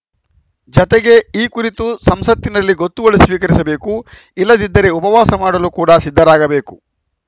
ಜತೆಗೆ ಈ ಕುರಿತು ಸಂಸತ್ತಿನಲ್ಲಿ ಗೊತ್ತುವಳಿ ಸ್ವೀಕರಿಸಬೇಕು ಇಲ್ಲದಿದ್ದರೆ ಉಪವಾಸ ಮಾಡಲು ಕೂಡ ಸಿದ್ಧರಾಗಬೇಕು